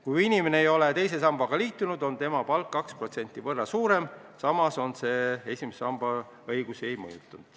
Kui inimene ei ole teise sambaga liitunud, on tema palk 2% võrra suurem, samas see esimese sambaga seotud õigusi ei mõjuta.